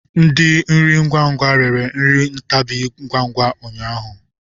Ndi nri ngwa ngwa rere nri ntabi ngwa ngwa ụnyaahụ.